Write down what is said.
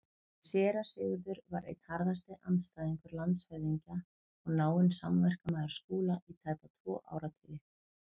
Séra Sigurður var einn harðasti andstæðingur landshöfðingja og náinn samverkamaður Skúla í tæpa tvo áratugi.